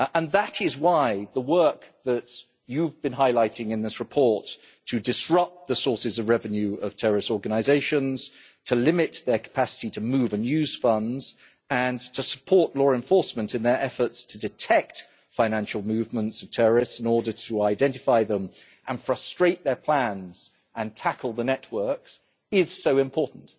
That is why the work that you've been highlighting in this report to disrupt the sources of revenue of terrorist organisations, to limit their capacity to move and use funds and to support law enforcement in their efforts to detect financial movements of terrorists, in order to identify them and frustrate their plans and tackle the networks, is so important.